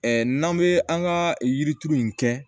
n'an bɛ an ka yirituru in kɛ